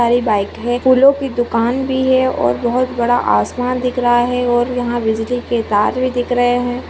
सारी बाइक है फूलो की दुकान भी है और बहुत बड़ा आसमान दिख रहा है और यहाँ बिजली के तार भी दिख रहे है।